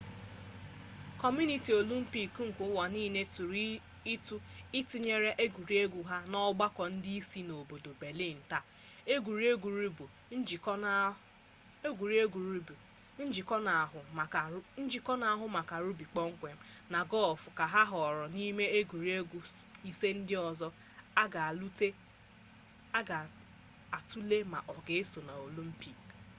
kọmitii olimpik nke ụwa niile tụrụ ụtụ itinye egwuregwu ahụ n'ọgbakọ ndị isi ha n'obodo belịn taa egwuregwu rugbi njikọ n'ahụ maka rugbi kpọmkwem na gọlf ka ahọọrọ n'ime egwuregwu ise ndị ọzọ ka a ga atụle ma ọ ga eso na olimpik